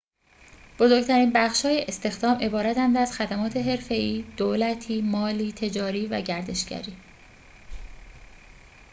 بزرگ‌ترین بخش‌های استخدام عبارتند از خدمات حرفه‌ای دولتی مالی تجاری و گردشگری